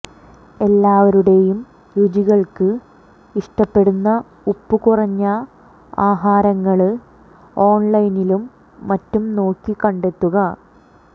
എല്ലാവരുടെയും രുചികള്ക്ക് ഇഷ്ടപ്പെടുന്ന ഉപ്പ് കുറഞ്ഞ ആഹാരങ്ങള് ഓണ്ലൈനിലും മറ്റും നോക്കി കണ്ടെത്തുക